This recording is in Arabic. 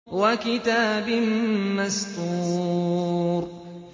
وَكِتَابٍ مَّسْطُورٍ